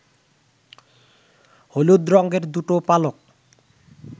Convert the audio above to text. হলুদ রংয়ের দুটো পালক